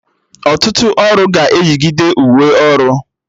Ọtụtụ ọrụ ga-eyigide uwe ọrụ